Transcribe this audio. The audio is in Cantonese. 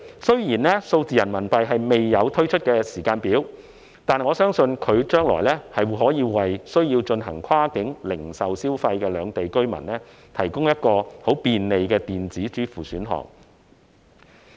雖然數字人民幣未有推出的時間表，但我相信，數字人民幣將來可為需要進行跨境零售消費的兩地居民，提供很便利的電子支付選項。